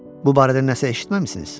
Bu barədə nəsə eşitməmisiniz?